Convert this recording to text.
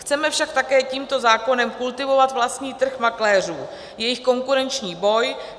Chceme však také tímto zákonem kultivovat vlastní trh makléřů, jejich konkurenční boj.